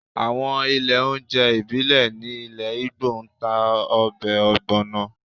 Àwọn ilé oúnjẹ ìbílẹ̀ ní ilẹ̀ Igbo ń ta ọbẹ̀ ogbono